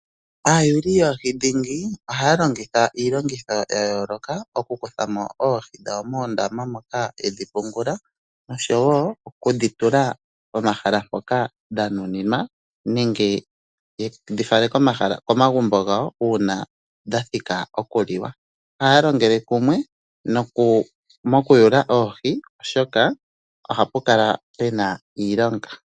Aayuli yoohi dhingi ohaya longitha iilongitho ya yoloka oku kuthamo oohi dhawo moondama moka yedhi pungula noshowo okudhi tula pomahala mpoka dhanuninwa nenge yedhi fale komagumbo gawo una dha thika oku liwa. Ohaya longele kumwe mokutula oohi oshoka ohapu kala puna iilonga.